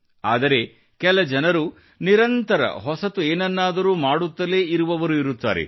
ಆದರೆ ಕೆಲ ಜನರು ನಿರಂತರ ಹೊಸತು ಏನನ್ನಾದರೂ ಮಾಡುತ್ತಲೇ ಇರುವವರು ಇರುತ್ತಾರೆ